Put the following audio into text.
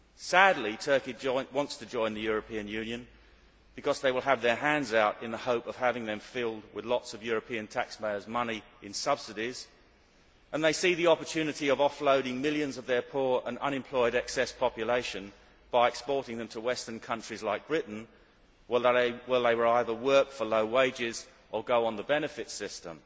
Sadly, Turkey wants to join the European Union because they will have their hands out in the hope of having them filled with lots of European taxpayers' money in subsidies, and they see the opportunity of offloading millions of their poor and unemployed excess population by exporting them to Western countries like Britain, where they will either work for low wages or go on the benefits system.